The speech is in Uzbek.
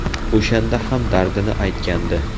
O‘shanda ham dardini aytgandi.